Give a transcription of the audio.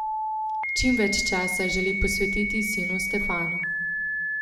Čim več časa želi posvetiti sinu Stefanu.